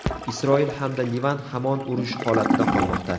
Isroil hamda Livan hamon urush holatida qolmoqda.